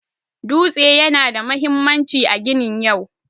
Dutse yana da mahimmanci a ginin yau.